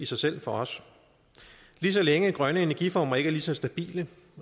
sig selv for os lige så længe grønne energiformer ikke er lige så stabile